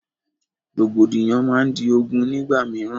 Rògbòdìyàn máa di ogún nígbà mìíràn